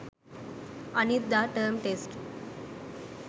අනිද්දා term test